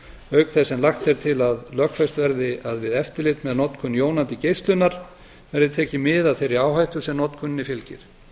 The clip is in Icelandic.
auk þess sem lagt er til að lögfest verði að við eftirlit með notkun jónandi geislunar verði tekið mið af þeirri áhættu sem notkuninni fylgir